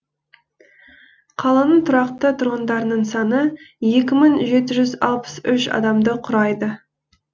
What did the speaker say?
қаланың тұрақты тұрғындарының саны екі мың жеті жүз алпыс үш адамды құрайды